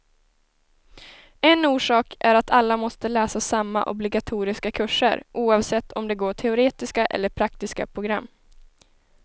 En orsak är att alla måste läsa samma obligatoriska kurser, oavsett om de går teoretiska eller praktiska program.